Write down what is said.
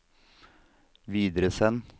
videresend